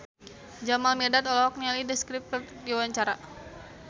Jamal Mirdad olohok ningali The Script keur diwawancara